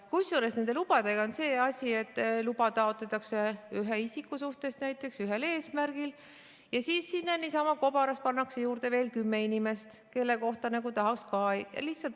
Kusjuures nende lubadega on see asi, et luba taotletakse ühe isiku suhtes näiteks ühel eesmärgil ja siis sinna niisama kobaras pannakse juurde veel kümme inimest, kelle kohta tahaks ka teada.